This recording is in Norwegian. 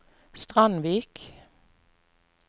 Strandvik